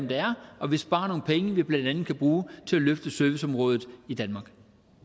her og vi sparer nogle penge vi blandt andet kan bruge til at løfte serviceområdet i danmark